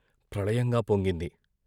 ప్రళయంగా పొంగింది.